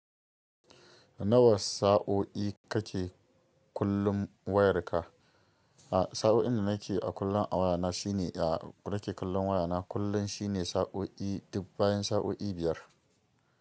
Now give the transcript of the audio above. Nawa sa'o'i kake kullum wayarka? A'a sa'o'in da nake a kullum a wayana shine, a nake kallon wayana kullum shine sa'o'i dubb bayan sa'o'i biyar.